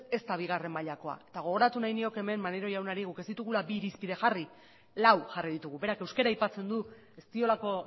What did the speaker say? ez da bigarren mailakoa eta gogoratu nahi nioke hemen maneiro jaunari guk ez ditugula bi irizpide jarri lau jarri ditugu berak euskara aipatzen du ez diolako